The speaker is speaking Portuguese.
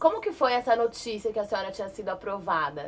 Como que foi essa notícia que a senhora tinha sido aprovada?